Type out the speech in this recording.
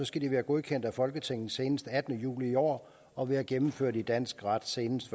skal de være godkendt af folketinget seneste den attende juli i år og være gennemført i dansk ret senest